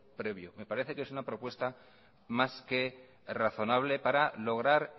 previo me parece que es una propuesta más que razonable para lograr